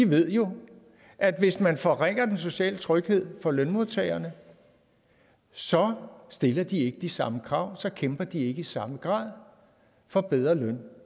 ved jo at hvis man forringer den sociale tryghed for lønmodtagerne så stiller de ikke de samme krav og så kæmper de ikke i samme grad for bedre løn